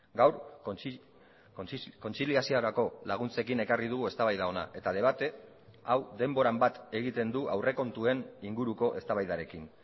gaur kontziliaziorako laguntzekin ekarri dugu eztabaida hona eta debate hau denboran bat egiten du aurrekontuen inguruko eztabaidarekin